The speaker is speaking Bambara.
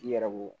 I yɛrɛ ko